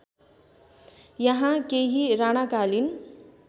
यहाँ केही राणाकालीन